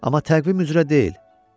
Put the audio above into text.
Amma təqvim üzrə deyil.